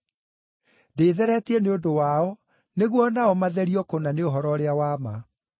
Ndĩĩtheretie nĩ ũndũ wao, nĩguo o nao matherio kũna nĩ ũhoro ũrĩa wa ma.